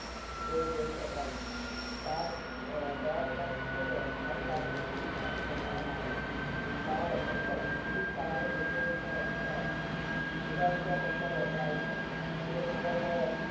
high carbon steel માંથી બનાવામાં આવે છે અનુસાર જુદા જુદા પક્ડ વપરાય છે તે મુજબ આ